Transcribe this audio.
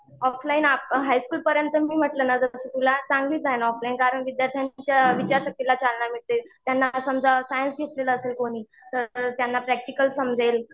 Offline हायस्कुलपर्यंत मी म्हंटल ना जसं तुला चांगलीच आहे ना ऑफलाईन कारण विद्यार्थ्यांच्या विचार शक्तीला चालना मिळते. त्यांना समजा सायन्स घेतलेलं असेल कोणी तर त्यांना प्रॅक्टिकल समजेल.